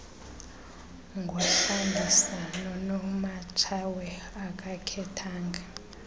ngodlangisa nonomatshawe akakhethanga